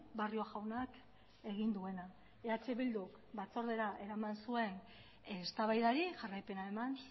barrio jaunak egin duena eh bildu batzordera eraman zuen eztabaidari jarraipena eman